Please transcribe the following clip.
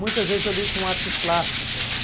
Muitas vezes eu ligo com artes plásticas.